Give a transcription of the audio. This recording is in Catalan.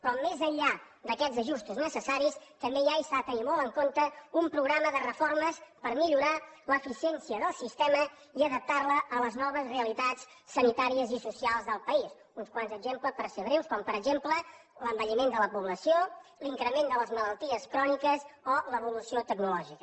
però més enllà d’aquests ajustos necessaris també hi ha i s’ha de tenir molt en compte un programa de reformes per millorar l’eficiència del sistema i adaptar la a les noves realitats sanitàries i socials del país uns quants exemples per ser breus com per exemple l’envelliment de la població l’increment de les malalties cròniques o l’evolució tecnològica